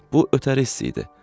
Bu ötəri hiss idi.